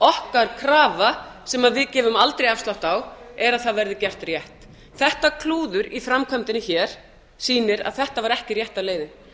okkar krafa sem við gefum aldrei afslátt á er að það verði gert rétt þetta klúður í framkvæmdinni hér sýnir að þetta var ekki rétta leiðin